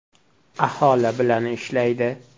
Aholi bilan ishlaydi.